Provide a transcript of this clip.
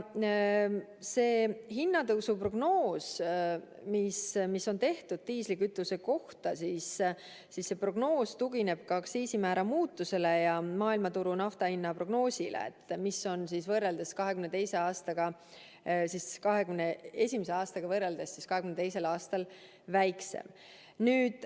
See hinnatõusu prognoos, mis on tehtud diislikütuse kohta, tugineb aktsiisimäära muutusele ja maailmaturu naftahinna prognoosile, mis on võrreldes 2021. aastaga 2022. aastal väiksem.